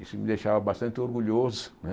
Isso me deixava bastante orgulhoso, né?